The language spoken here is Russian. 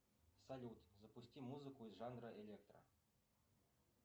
салют запусти музыку из жанра электро